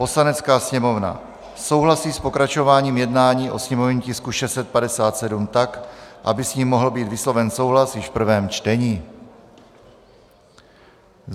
"Poslanecká sněmovna souhlasí s pokračováním jednání o sněmovním tisku 657 tak, aby s ním mohl být vysloven souhlas již v prvém čtení."